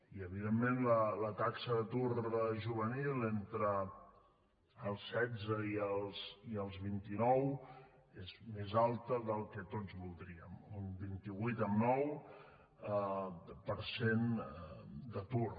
i evidentment la taxa d’atur juvenil entre els setze i els vinti nou és més alta del que tots voldríem un vint vuit amb nou per cent d’atur